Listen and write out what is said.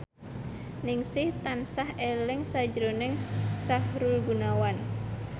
Ningsih tansah eling sakjroning Sahrul Gunawan